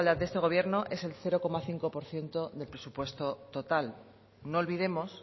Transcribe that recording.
de este gobierno es el cero coma cinco por ciento de presupuesto total no olvidemos